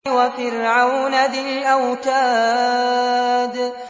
وَفِرْعَوْنَ ذِي الْأَوْتَادِ